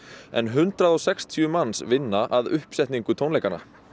en hundrað og sextíu manns vinna að uppsetningu tónleikanna